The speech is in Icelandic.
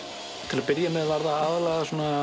til að byrja með var það aðallega